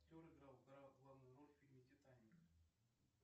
актер играл главную роль в фильме титаник